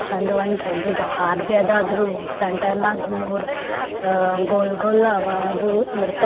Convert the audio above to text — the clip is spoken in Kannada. ತಂದ ಒಂದ ದೊಡ್ಡದ ಹಾರಬಿ ಅದ ಅದರ ಸೆಂಟರ್ ನಾಗ ಮುರ ಅ ಗೋಲ ಗೋಲ ಅವಾ ಅದು ಇಡತಾವ --